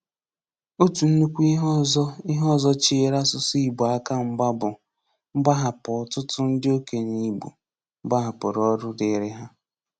Ọ̀tụ̀ ńnukwu íhè ọzọ íhè ọzọ chèèrè asụ̀sụ́ Ìgbò aka mgba bụ́ mgbàhàpụ̀ ọ̀tụ̀tụ̀ ndị òkènyè Ìgbò gbàhàpụ̀rù ọ̀rụ̀ dịrị hà.